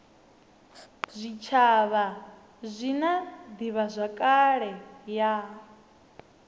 zwitshavha zwi na divhazwakale ya